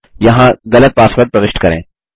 यहाँ गलत पासवर्ड प्रविष्ट करें